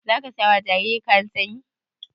Zaka saya wa jaririn kayan sanyi?